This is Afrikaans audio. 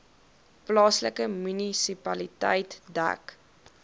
plaaslike munisipaliteit dek